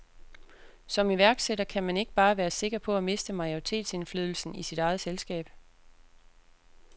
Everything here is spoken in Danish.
Som iværksætter kan man ikke bare være sikker på at miste majoritetsindflydelsen i sit eget selskab.